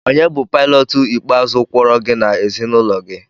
Onye bụ Paịlọt ikpeazụ kwọrọ gị na ezinụlọ gị?